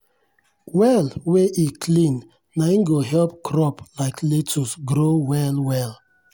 well wey e clean nai go help crop like lettuce grow well well.